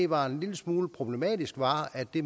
var en lille smule problematisk var at det